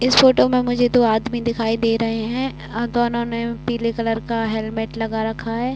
इस फोटो में मुझे दो आदमी दिखाई दे रहे हैं। दोनों ने पीले कलर का हेलमेट लगा रखा हैं।